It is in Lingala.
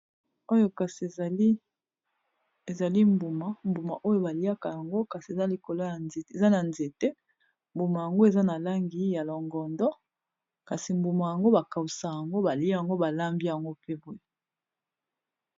Oyo kasi ezali mbuma, mbuma oyo ba liaka yango kasi eza likolo eza na nzete mbuma yango eza na langi ya longondo kasi mbuma yango ba kausa yango balia yango balambi yango pe boye.